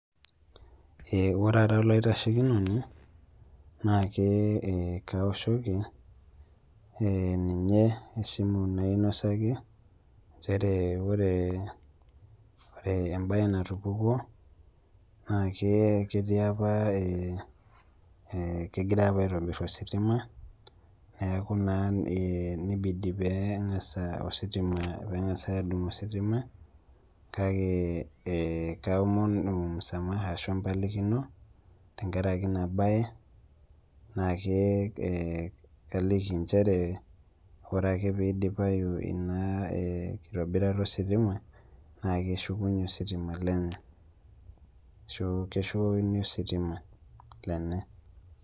Ee ore ara olaitashekinoni na ke ee kaoshoki ninye esimu nainosaki nchere ore ore embaye natupukuo naa ke ketii apa ee kegirai apa aitobirr ositima neeku naa ee nibidi pee eng'as ositima pee eng'asai aadung' ositima kake ee kaomonu msamaha ashu empalikino tenkaraki ina baye naa ke ee kaliki nchere ore ake pee idipayu ina ee kitobirata ositima naa keshukunyie ositima lenye ashu keshukokini ositima lenye.